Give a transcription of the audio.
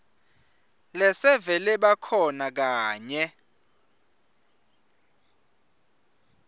lesevele bakhona kanye